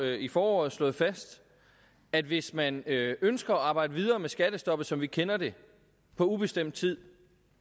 i foråret slået fast at hvis man ønsker at arbejde videre med skattestoppet som vi kender det på ubestemt tid